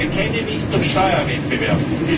Ich bekenne mich zum Steuerwettbewerb.